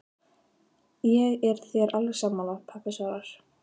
Ég er þér alveg sammála, pabbi svarar